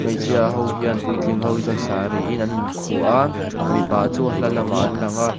hmeichhia ho hian puitling ho hi chuan sari in an in khu a mipa chu a hla lamah an langa.